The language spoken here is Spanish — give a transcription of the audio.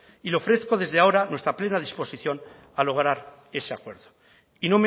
y le ofrezco desde ahora plena disposición a lograr ese acuerdo y